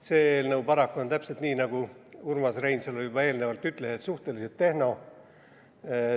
See eelnõu on paraku – täpselt nii, nagu Urmas Reinsalu juba ütles – suhteliselt tehniline.